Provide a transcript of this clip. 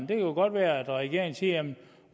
kan jo godt være at regeringen siger jamen